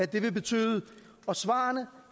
det vil betyde og svarene